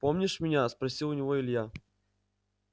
помнишь меня спросил у него илья